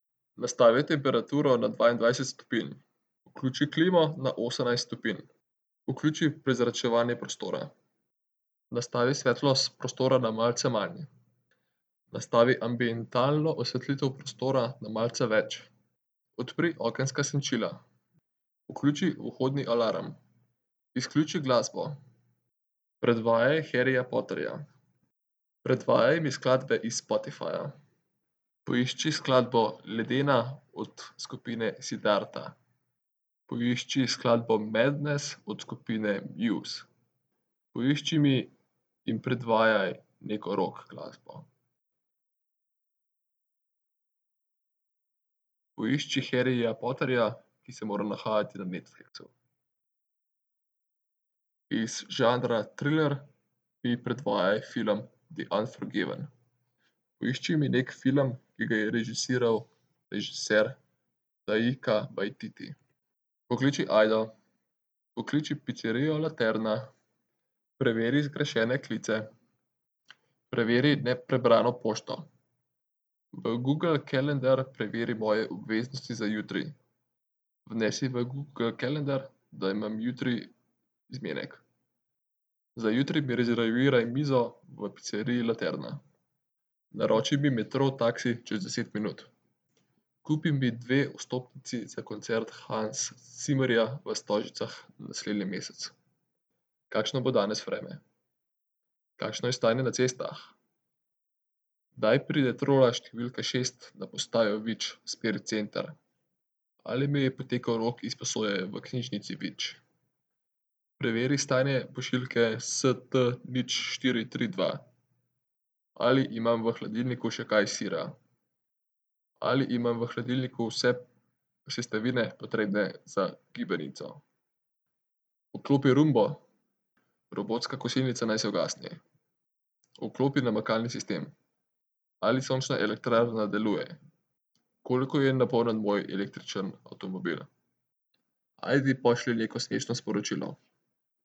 Nastavi temperaturo na dvaindvajset stopinj. Vključi klimo na osemnajst stopinj. Vključi prezračevanje prostora. Nastavi svetlost prostora na malce manj. Nastavi ambientalno osvetlitev prostora na malce več. Odpri okenska senčila. Vključi vhodni alarm. Izključi glasbo. Predvajaj Harryja Potterja. Predvajaj mi skladbe iz Spotifyja. Poišči skladbo Ledena od skupine Siddharta. Poišči skladbo Madness od skupine Muse. Poišči mi in predvajaj neko rock glasbo. Poišči Harryja Potterja, ki se mora nahajati na Netflixu. Iz žanra triler mi predvajaj film The unforgiven. Poišči mi neki film, ki ga je režiral režiser Taika Waititi. Pokliči Ajdo. Pokliči picerijo Laterna. Preveri zgrešene klice. Preveri neprebrano pošto. V Google Calendar preveri moje obveznosti za jutri. Vnesi v Google Calnedar, da imam jutri zmenek. Za jutri mi rezerviraj mizo v piceriji Laterna. Naroči mi Metro taksi čez deset minut. Kupi mi dve vstopnici za koncert Hansa Zimmerja v Stožicah naslednji mesec. Kakšno bo danes vreme? Kakšno je stanje na cestah? Kdaj pride trola številka šest na postajo Vič v smeri center? Ali mi je potekel rok izposoje v knjižnici Vič? Preveri stanje pošiljke ST nič, štiri, tri, dva. Ali imam v hladilniku še kaj sira? Ali imam v hladilniku vse sestavine, potrebne za gibanico? Vklopi roombo. Robotska kosilnica naj se ugasne. Vklopi namakalni sistem. Ali sončna elektrarna deluje? Koliko je napolnjen moj električni avtomobil? Ajde, pošlji neko smešno sporočilo.